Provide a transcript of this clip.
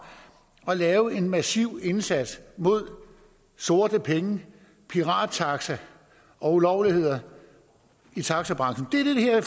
at lave en massiv indsats mod sorte penge pirattaxaer og ulovligheder i taxabranchen det er